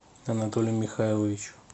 анатолию михайловичу